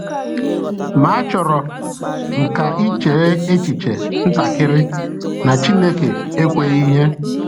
Ma achọrọ m ka i chee echiche ntakịrị na Chineke ekweghị ihe.